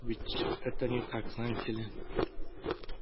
ведь это не так знаете ли